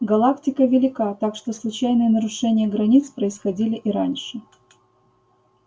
галактика велика так что случайные нарушения границ происходили и раньше